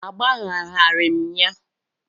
Agbagharaghị m ya.